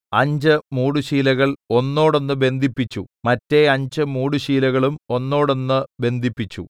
അഞ്ച് മൂടുശീലകൾ ഒന്നോടൊന്ന് ബന്ധിപ്പിച്ചു മറ്റെ അഞ്ച് മൂടുശീലകളും ഒന്നോടൊന്ന് ബന്ധിപ്പിച്ചു